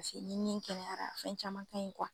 Paseke ni ni kɛlɛyara fɛn caman ka ɲi